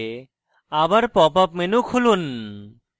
আবার pop up menu খুলুন